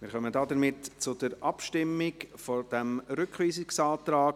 Wir kommen somit zur Abstimmung über diesen Rückweisungsantrag.